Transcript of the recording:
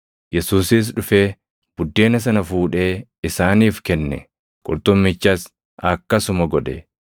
Yesuusis dhufee buddeena sana fuudhee isaaniif kenne; qurxummichas akkasuma godhe.